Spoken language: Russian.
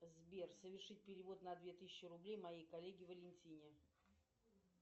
сбер совершить перевод на две тысячи рублей моей коллеге валентине